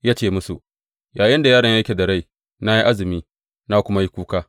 Ya ce musu, Yayinda yaron yake da rai, na yi azumi, na kuma yi kuka.